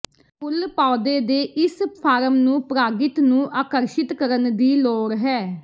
ਫੁੱਲ ਪੌਦੇ ਦੇ ਇਸ ਫਾਰਮ ਨੂੰ ਪਰਾਗਿਤ ਨੂੰ ਆਕਰਸ਼ਿਤ ਕਰਨ ਦੀ ਲੋੜ ਹੈ